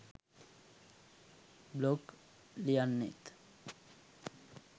blog ලියන්නේත්